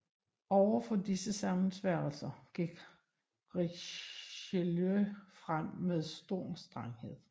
Over for disse sammensværgelser gik Richelieu frem med stor strenghed